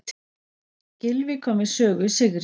Gylfi kom við sögu í sigri